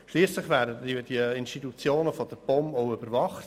Schliesslich werden die Institutionen auch von der POM überwacht.